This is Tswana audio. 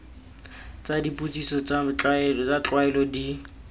tsa dipotsiso tsa tlwaelo di